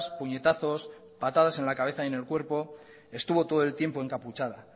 puñetazos patadas en la cabeza y en el cuerpo estuvo todo el tiempo encapuchada